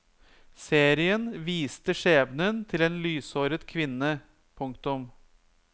Serien viste skjebnen til en lyshåret kvinne. punktum